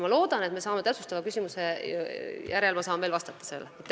Ma loodan, et täpsustava küsimuse järel ma saan sellele veel vastata.